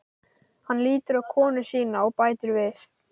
Hann lítur á konu sína og bætir við